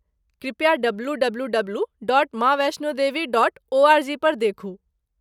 कृपया डब्लूडब्लूडब्लू.माँवैष्णोदेवी.ओआरजी पर देखू।